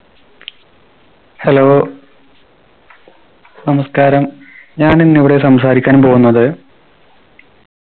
hello നമസ്‍കാരം ഞാനിന്നിവിടെ സംസാരിക്കാൻ പോകുന്നത്